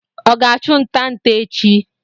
Ọ ga achụ nta nte echi